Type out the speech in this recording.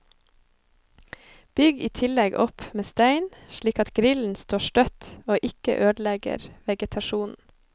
Bygg i tillegg opp med stein, slik at grillen står støtt og ikke ødelegger vegetasjonen.